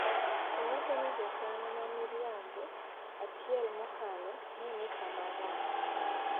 Owacho ni jokanyo mamiriambo achiel mokalo neni kama rach. Amesema faida za kijamii za muongo mmoja uliopita zilikuwa hatarini.